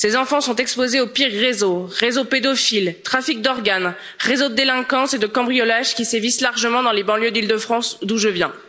Ces enfants sont exposés aux pires réseaux réseaux pédophiles, trafic d'organes, réseaux de délinquance et de cambriolage qui sévissent largement dans les banlieues d'Île de France, d'où je viens.